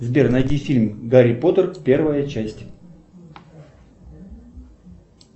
сбер найди фильм гарри поттер первая часть